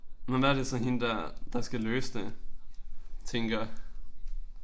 Men hvad er det så hende der der skal løse det tænker?